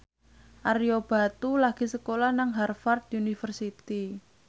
Ario Batu lagi sekolah nang Harvard university